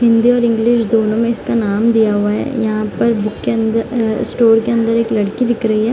हिंदी और इंग्लिश दोनों में इसका नाम दिया हुआ है यहाँ पर बुक के अंदर अ स्टोर के अंदर एक लड़की दिख रही है।